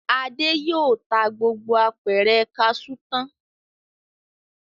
Adé yóò ta gbogbo apẹ̀rẹ̀ kaṣú tán.